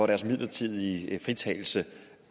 deres midlertidige fritagelse